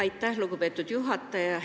Aitäh, lugupeetud juhataja!